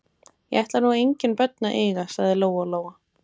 Ég ætla nú engin börn að eiga, sagði Lóa Lóa.